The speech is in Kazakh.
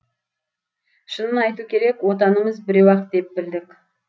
шынын айту керек отанымыз біреу ақ деп білдік